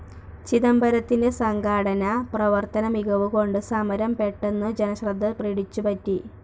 ചിദംബരത്തിന്റെ സംഘാടന, പ്രവർത്തന മികവുകൊണ്ട് സമരം പെട്ടെന്നു ജനശ്രദ്ധ പിടിച്ചു പറ്റി.